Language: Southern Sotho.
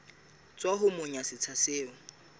tswa ho monga setsha seo